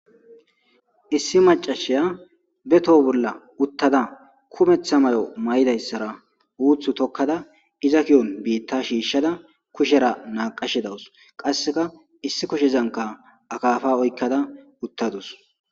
Issi mac'ashiya be toho bola utada kumeta mayo ma'idaysara utu tokada iza kiyon bita shishada kushera naqashe dawus qaseka issi kushezanka akafa oykada utadus.